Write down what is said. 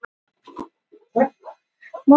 Æskuheimili Madonnu til sölu